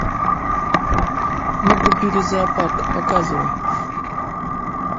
мы купили зоопарк показывай